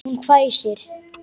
Hún hvæsir.